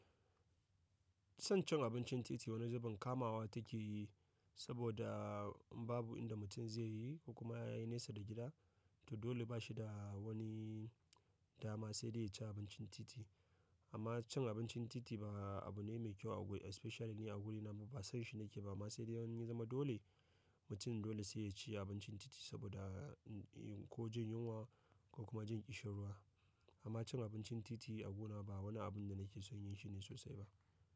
Son cin abincin titi wani zubin kamawa take yi saboda babu inda mutum zai yi ko kuma ya yi nesa da gida, to dole bashi da wani dama sai dai ya ci abincin titi. Amma cin abincin titi ba abu ne mai kyau a guri especially ni a wurina ba, sanshi nake ba. Amma sai dai in ya zama dole, mutum dole sai ya ci abincin titi saboda ko jin yunwa ko kuma jin ƙishan ruwa. Amma cin abincin titi a gona ba wani abun da nake son yin shi ne sosai ba.